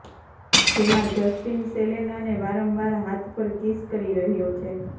જેમાં જસ્ટીન સેલેનાને વારંવાર હાથ પર કિસ કરી રહ્યો છે